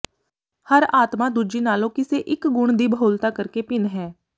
ਹਰ ਆਤਮਾ ਦੂਜੀ ਨਾਲੋਂ ਕਿਸੇ ਇਕ ਗੁਣ ਦੀ ਬਹੁਲਤਾ ਕਰਕੇ ਭਿੰਨ ਹੈ